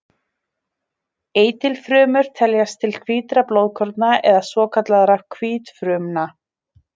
Eitilfrumur teljast til hvítra blóðkorna eða svokallaðra hvítfrumna.